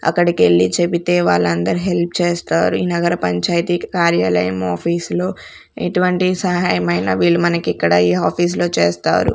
అక్కడికి వెళ్లి చెబితే వాలందరు హెల్ప్ చేస్తారు ఈ నగర పంచాయతీకి కార్యాలయము ఆఫీసులో ఎటువంటి సహాయం అయినా వీళ్లు మనకు ఇక్కడ ఈ ఆఫీస్ లో చేస్తారు.